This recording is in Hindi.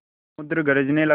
समुद्र गरजने लगा